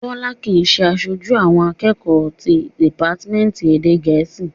Bọ́lá kìí ṣe aṣojú àwọn akẹ́kọ̀ọ́ ti dìpátímẹ́ǹtì èdè gẹ̀ẹ́sì